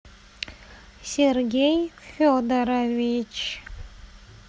сергей федорович